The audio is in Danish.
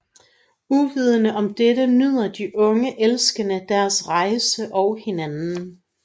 Uvidende om dette nyder de unge elskende deres rejse og hinanden